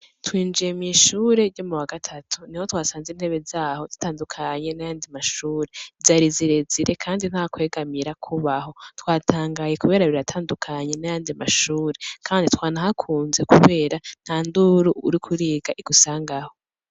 Twinjiye mw'ishure ryo mu wagatatu niho twasanze intebe zaho zitandukanye n’ayandi mashure, zari zirezire kandi ntakwegamira kubaho, twatangaye kubera biratandukanye n'ayandi mashure, twanahakuze kubera ntanduru uriko uriga igusangaho.